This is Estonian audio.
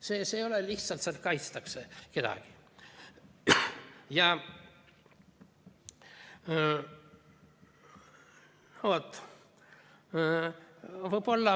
See ei ole lihtsalt see, et kaitstakse kedagi.